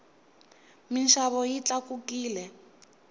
minxavo yi tlakukile